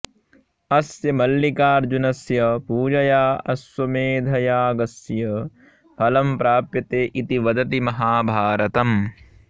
अस्य मल्लिकार्जुनस्य पूजया अश्वमेधयागस्य फलं प्राप्यते इति वदति महाभारतम्